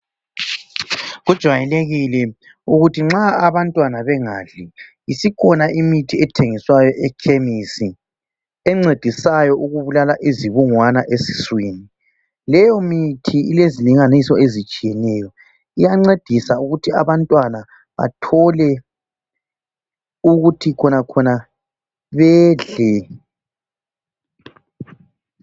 Kujwayelekile ukuthi nxa abantwana bengadli, isikhona imithi ethengiswayo ekhemisi encedisayo ukubulala izibungwana esiswini. Leyo mithi ilezilinganiso ezitshiyeneyo iyancedisa ukuthi abantwana bathole ukuthi bedle.